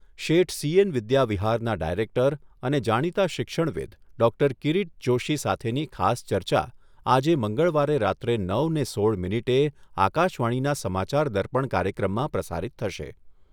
શેઠ C N વિદ્યાવિહારના director અને જાણીતા શિક્ષણવિદ ડૉક્ટર કિરીટ જોશી સાથેની એક ખાસ ચર્ચા આજે મંગળવારે રાત્રે નવને સોળ મિનિટે આકાશવાણીના સમાચાર દર્પણ કાર્યક્રમમાં પ્રસારિત થશે.